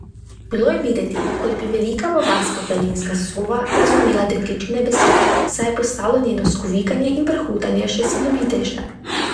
Bilo je videti, kot bi velika bavarska planinska sova razumela dekličine besede, saj je postalo njeno skovikanje in prhutanje še silovitejše.